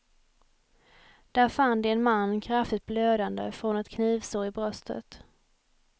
Där fann de en man kraftigt blödande från ett knivsår i bröstet.